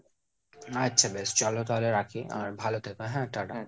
আচ্ছা বেশ চলো তাহলে রাখি। আর ভালো থেকো হ্যাঁ tata.